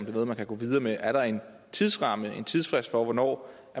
er noget man kan gå videre med er der en tidsramme en tidsfrist for hvornår